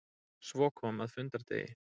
Svo kom að fundardegi.